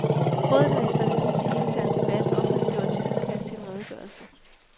Rådet har efter en hidsig intern debat offentliggjort sit udkast til en redegørelse.